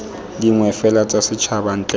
dingwe fela tsa setšhaba ntle